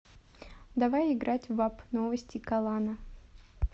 давай играть в апп новости калана